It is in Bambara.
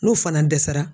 N'u fana dɛsɛra